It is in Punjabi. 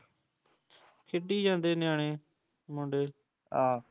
ਖੇਡੀ ਜਾਂਦੇ ਨਿਆਣੇ, ਮੁੰਡੇ ਆਹ